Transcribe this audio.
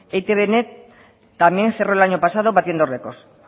e i te be net también cerró el año pasado batiendo records